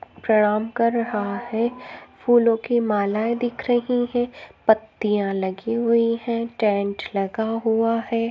प्रणाम कर रहा है फूलो की मालाए दिख रही है पत्तिया लगी हुई है टेंट लगा हुआ है।